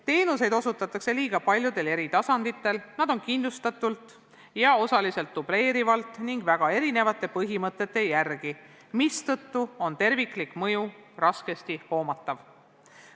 Teenuseid osutatakse liiga paljudel eri tasanditel, need on killustatud ja osaliselt dubleerivad ning neid osutatakse väga erinevate põhimõtete järgi, mistõttu on nende terviklik mõju raskesti hoomatav.